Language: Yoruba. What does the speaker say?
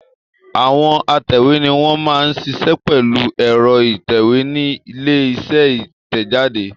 Àwọn atẹ̀wé ni wọ́n máa ń ṣiṣẹ́ pẹ̀lú ẹ̀rọ ìtẹ̀wé nílé iṣẹ́ ìtẹ̀jáde.